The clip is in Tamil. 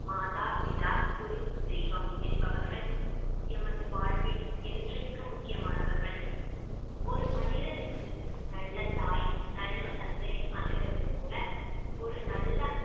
மாதா, பிதா, குரு, தெய்வம் என்பவர்கள் எமது வாழ்வில் என்றைக்கும் முக்கியமானவர்கள் ஒரு மனிதனுக்கு நல்ல தாய் நல்ல தந்தை அமைவதைப் போல ஒரு நல்ல